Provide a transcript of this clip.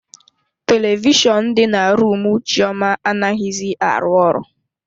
Televishọnụ dị na rumu Chioma anaghizi arụ ọrụ.